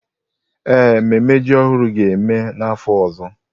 Ee, mmemme ji ọhụrụ ga-eme n'afọ ọzọ.